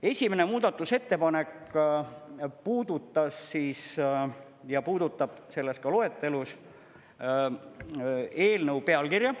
Esimene muudatusettepanek puudutas ja puudutab selles ka loetelus eelnõu pealkirja.